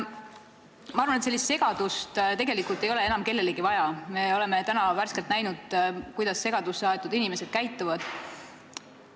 Ma arvan, et sellist segadust ei ole enam kellelegi vaja – me oleme värskelt näinud, kuidas segadusse aetud inimesed käituvad.